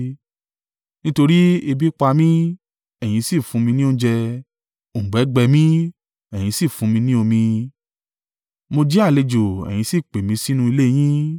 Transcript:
Nítorí ebi pa mi, ẹ̀yin sì fún mi ní oúnjẹ, òǹgbẹ gbẹ mí, ẹ̀yin sì fún mi ní omi. Mo jẹ́ àlejò, ẹ̀yin sì pè mí sínú ilé yín.